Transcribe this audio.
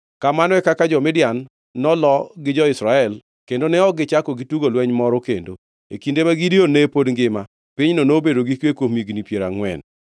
Kamano e kaka jo-Midian noloo gi jo-Israel kendo ne ok gichako gitugo lweny moro kendo. E kinde ma Gideon ne pod ngima, pinyno nobedo gi kwe kuom higni piero angʼwen.